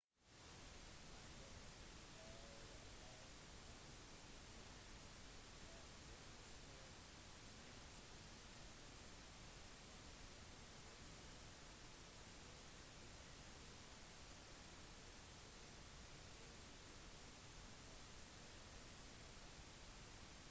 i løpet av århundrene har mennesker med nøyaktighet bygd terrasser i det ujevne bratte landskapet rett opp til klippene som overser havet